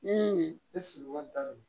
Ni i sigiyɔrɔ bɛnnen do